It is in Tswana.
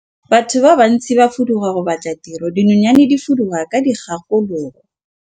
Batho ba bantsi ba fuduga go batla tiro, dinonyane di fuduga ka dikgakologo.